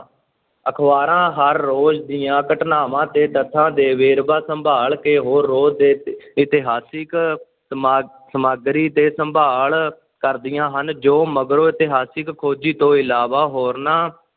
ਅਖ਼ਬਾਰਾਂ ਹਰ ਰੋਜ਼ ਦੀਆਂ ਘਟਨਾਵਾਂ ਤੇ ਤੱਥਾਂ ਦੇ ਵੇਰਵਾ ਸੰਭਾਲ ਕੇ ਹੋਰ ਰੋਜ਼ ਇਤਿਹਾਸਿਕ ਸਮ~ ਸਮੱਗਰੀ ਤੇ ਸੰਭਾਲ ਕਰਦੀਆਂ ਹਨ, ਜੋ ਮਗਰੋਂ ਇਤਿਹਾਸਕ ਖੋਜੀ ਤੋਂ ਇਲਾਵਾ ਹੋਰਨਾਂ